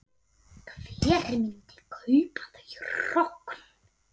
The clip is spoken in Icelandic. Hver myndi kaupa þau hrogn?